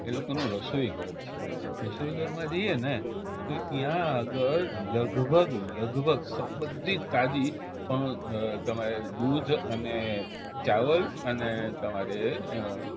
એ લોકોનું રસોઈઘર છે રસોઈઘરમાં જઈએને તો ઈયા આગળ લગભગ લગભગ બધી જ તાજી પણ દૂધ અને ચાવલ અને તમારે